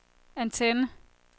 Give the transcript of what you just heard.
antenne